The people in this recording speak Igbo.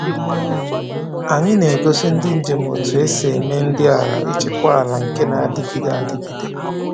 Anyị na-egosi ndị njem otú esi eme nri maka ịchịkwa ala nke na-adịgide adịgide.